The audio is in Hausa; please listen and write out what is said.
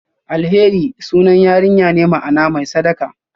Alheri sunan yarinya ne, ma'ana "mai sadaka".